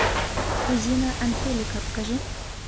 кузина анхелика покажи